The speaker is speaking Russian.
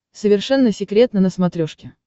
совершенно секретно на смотрешке